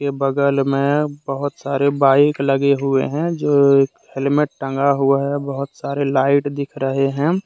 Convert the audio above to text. के बगल में बहोत सारे बाइक लगे हुए हैं जो एक हेलमेट टंगा हुआ है बहोत सारे लाइट दिख रहे हैं।